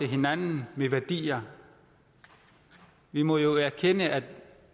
hinandens værdier vi må jo erkende at